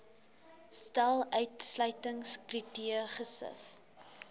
stel uitsluitingskriteria gesif